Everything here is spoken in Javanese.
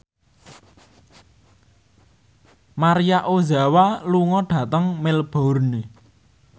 Maria Ozawa lunga dhateng Melbourne